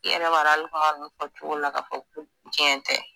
i yɛrɛ b'a dɔn ali kuma nunnu fɔ cogo la ka fɔ ko cɛn tɛ